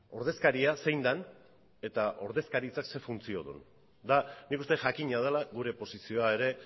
ordezkaria zein den eta ordezkaritzak zein funtzio duen eta nik uste jakina dela gure posizioa ere